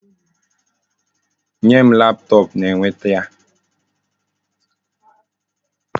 Nye m laptop na ekwenti a!